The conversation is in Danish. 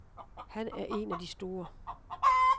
Han er en af de store.